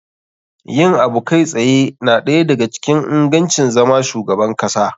Yin abu kai tsaye na ɗaya da ga cikin ingancin zama shugaban kasa.